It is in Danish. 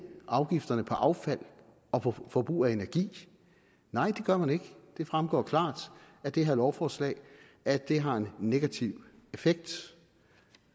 afgifterne på affald og på forbrug af energi nej det gør man ikke det fremgår klart af det her lovforslag at det har en negativ effekt